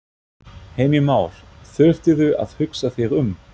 Heimir Már: Þurftirðu að hugsa þig um?